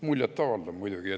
Muljetavaldav muidugi.